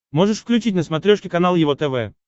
можешь включить на смотрешке канал его тв